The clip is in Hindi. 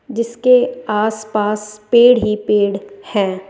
जीसके आस पास पेड़ ही पेड़ है।